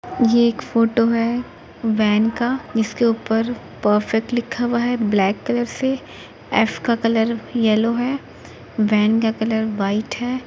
यह एक फोटो हैं वैन का। इसके ऊपर परफेक्ट लिखा हुआ हैं ब्लैक कलर से एफ का कलर येलो वैन का कलर व्हाइट हैं।